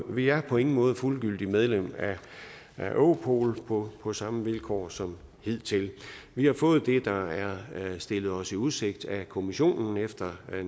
vi er på ingen måde fuldgyldigt medlem af europol på på samme vilkår som hidtil vi har fået det der er stillet os i udsigt af kommissionen efter